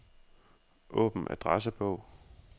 Åbn adressebog.